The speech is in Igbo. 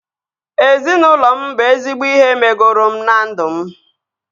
Ezinaụlọ m bụ ezigbo ihe megoro m na ndụ m